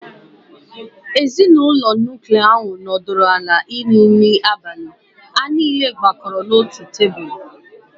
Ezinụlọ nuklia ahụ nọdụrụ ala iri nri abalị, ha niile gbakọrọ n'otu tebụl.